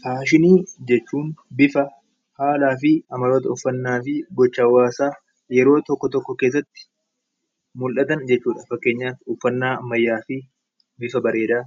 Faashinii jechuun bifa, haala, gochaa fi amaloota hawwaasaa yeroo tokko keessatti mul’atan jechuudha. Fakkeenyaaf uffannaa ammayyaa fi bifa bareedaa